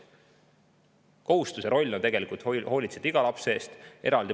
kohustus ja roll on tegelikult hoolitseda iga lapse eest.